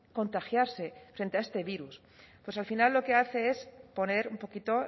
contagiarse frente a este virus pues al final lo que hace es poner un poquito